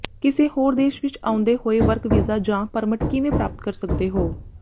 ਕਿਸੇ ਹੋਰ ਦੇਸ਼ ਵਿੱਚ ਆਉਂਦੇ ਹੋਏ ਵਰਕ ਵੀਜ਼ਾ ਜਾਂ ਪਰਮਿਟ ਕਿਵੇਂ ਪ੍ਰਾਪਤ ਕਰ ਸਕਦੇ ਹੋ